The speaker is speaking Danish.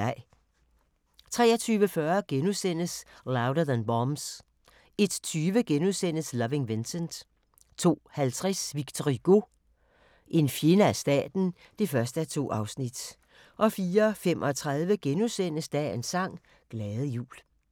23:40: Louder Than Bombs * 01:20: Loving Vincent * 02:50: Victor Hugo – en fjende af staten (1:2) 04:35: Dagens sang: Glade jul *